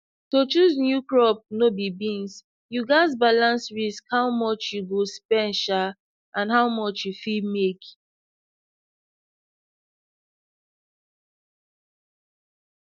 to choose new crop no be beans you gats balance risk how much you go spend um and how much you fit make